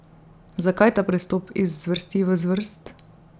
Zakaj ta prestop iz zvrsti v zvrst?